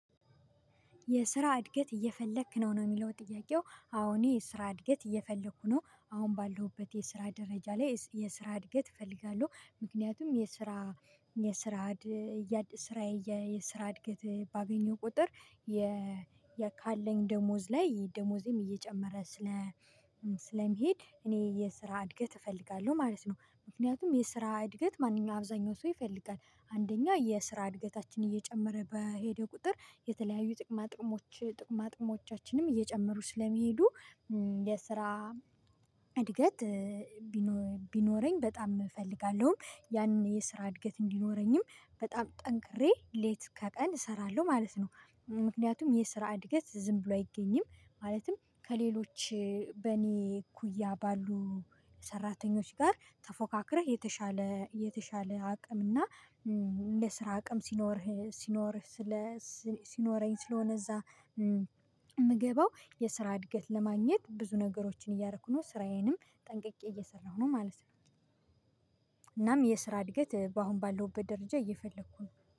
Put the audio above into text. የስራ እድገት እየፈለክ ነው ነው የሚለው ጥያቄው አወ እኔ የስራ እድገት እየፈለኩ ነው አሁን ባለሁበት የስራ ደረጃ ላይ የስራ እድገት እፈልጋለሁ ምክንያቱም የስራ የስራ ስራ የስራ እድገት ባገኘው ቁጥር የ ካለኝ ደሞዝ ላይ ደሞዝም እየጨመረ ስለሚሄድ እኔ የስራ እድገት እፈልጋለሁ ማለት ነው። ምክንያቱም የስራ እድገት ማንኛውም አብዛኛው ሰው ይፈልጋል። አንደኛ የስራ እድገታችን እየጨመረ በሄደ ቁጥር የተለያዩ ጥቅማ ጥቅሞች ጥቅማ ጥቅሞቻችንም እየጨመሩ ስለሚሄዱ የስራ እድገት ቢኖረኝ በጣም እፈልጋለሁም ያንን የስራ እድገት እንዲኖረኝም በጣም ጠንክሬ ሌት ከቀን እሰራለሁ ማለት ነው። ምክንያቱም የስራ እድገት ዝም ብሎ አይገኝም። ማለትም ከሌሎች በኔ እኩያ ባሉ ሰራተኞች ጋር ተፎካክረህ የተሻለ የተሻለ አቅም እና ለስራ አቅም ሲኖርህ ሲኖርህ ስለ ሲኖረኝ ስለሆነ እዛ የምገባው የስራ እድገት ለማግኘት ብዙ ነገሮችን እያደረኩ ነው ስራዬንም ጠንቅቄ እየሰራሁ ነው ማለት ነው። እናም የስራ እድገት በአሁን ባለውበት ደረጃ እየፈለኩ ነው